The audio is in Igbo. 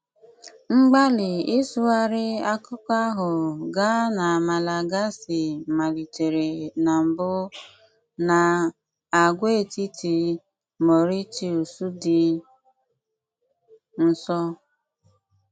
Mgbàlì ị́sụghárí àkùkọ́ ahụ̀ gáà na Malagàsí malìtéré na mbù n'àgwàètìtì Màurítíùs dị́ nso.